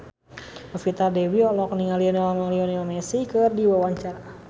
Novita Dewi olohok ningali Lionel Messi keur diwawancara